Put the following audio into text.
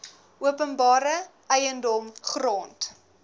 openbare eiendom grond